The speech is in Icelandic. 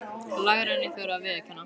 Lægra en ég þori að viðurkenna.